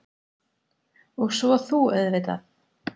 Og svo þú auðvitað.